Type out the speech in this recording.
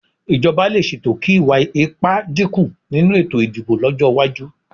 Ìjọba lè ṣètò kí ìwà ipá dínkù nínú ètò ìdìbò lọ́jọ́ iwájú